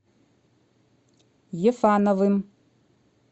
ефановым